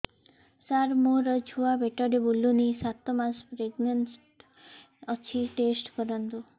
ସାର ମୋର ଛୁଆ ପେଟରେ ବୁଲୁନି ସାତ ମାସ ପ୍ରେଗନାଂଟ ଅଛି ଟେଷ୍ଟ କରନ୍ତୁ